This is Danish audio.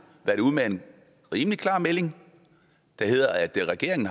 været ude med en rimelig klar melding der hedder at regeringen